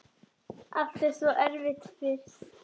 Allt er svo erfitt fyrst.